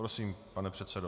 Prosím, pane předsedo.